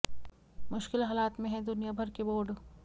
मुश्किल हालात में हैं दुनिया भर के बोर्ड